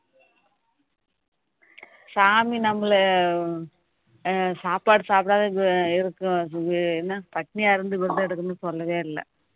சாமி நம்மள அஹ் சாப்பாடு சாப்புடாத இருக்கோம் என்ன பட்டினியா இருந்து விரதம் எடுக்கணும்ன்னு சொல்லவே இல்ல